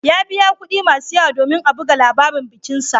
Ya biya kuɗi masu yawa domin a buga labarin bikinsa.